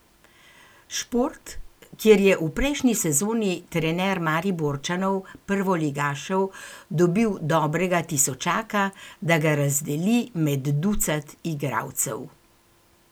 Šport, kjer je v prejšnji sezoni trener Mariborčanov, prvoligašev, dobil dobrega tisočaka, da ga razdeli med ducat igralcev.